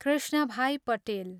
Krishnabhai Patel